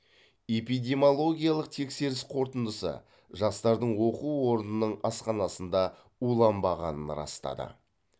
эпидемиологиялық тексеріс қорытындысы жастардың оқу орнының асханасында уланбағанын растады